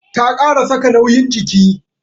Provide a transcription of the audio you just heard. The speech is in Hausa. Ta kara saka nauyin jiki.